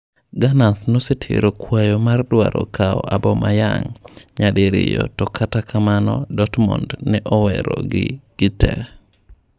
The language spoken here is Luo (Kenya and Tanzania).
Gunners nosetero kwayo mar dwaro kawo Aubameyang nyadiriyo to kata kamano Dortmund ne owero gi gitee.